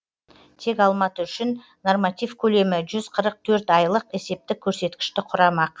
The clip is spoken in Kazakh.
тек алматы үшін норматив көлемі жүз қырық төрт айлық есептік көрсеткішті құрамақ